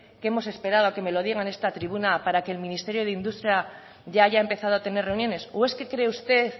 que hemos esperado a que me lo digan en esta tribuna para que el ministerio de industria ya haya empezado a tener reuniones o es que cree usted